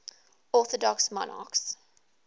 orthodox monarchs